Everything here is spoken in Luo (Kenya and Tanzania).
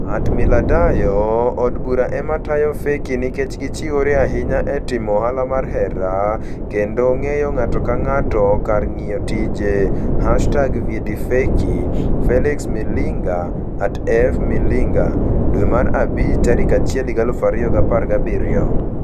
@millardayo Od Bura ema tayo feki nikech gichiwore ahinya e timo ohala mar hera & ng'eyo ng'ato ka ng'ato kar ng'iyo tije #VyetiFeki ? Felix Milinga (@FMilinga) May 1, 2017